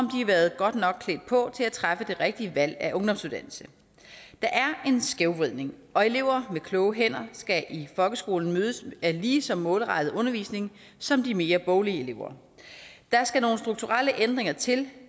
været godt nok klædt på til at træffe det rigtige valg af ungdomsuddannelse der er en skævvridning og elever med kloge hænder skal i folkeskolen mødes af lige så målrettet undervisning som de mere boglige elever der skal nogle strukturelle ændringer til